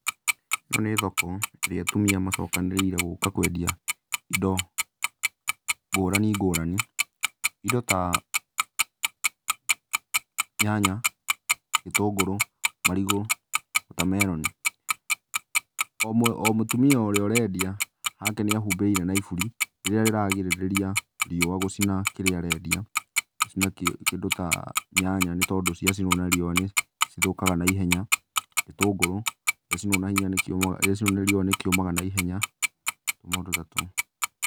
Ĩno nĩ thoko, ĩrĩa atumia macokanĩrĩire gũka wendia indo ngũrani ngũrani. Indo ta, nyanya, gĩtũngũrũ, marigũ, wotameroni. O mũtumia ũrĩa ũrendia hake nĩahumbĩire na iburi, rĩrĩa rĩrarigĩrĩria riũa gũcina kĩrĩa arendia, gũcina kĩndũ ta nyanya, nĩ tondũ ciacinwo nĩ riũa nĩcithũkaga naihenya. Gĩtũngũrũ gĩacinwo na hinya nĩ kĩũmaga gĩacinwo nĩ riũa nĩ kĩũmaga naihenya. Tũmaũndũ ta tũu.